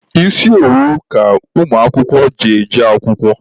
Isi owu ka ụmụakwụkwọ ji eje akwụkwọ.